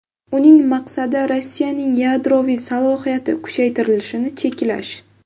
Uning maqsadi Rossiyaning yadroviy salohiyati kuchaytirilishini cheklash.